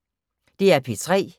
DR P3